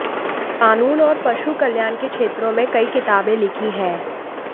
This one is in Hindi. कानून और पशु कल्याण के क्षेत्रों में कई किताबें लिखी हैं